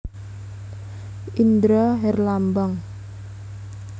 Indra Herlambang